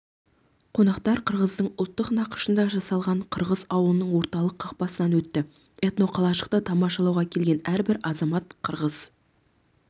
қонақтар қырғыздың ұлттық нақышында жасалған қырғыз ауылының орталық қақпасынан өтті этноқалашықты тамашалауға келген әрбір азамат қырғыз